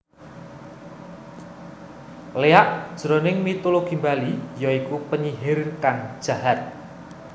Léak jroning mitologi Bali ya iku penyihir kang jahat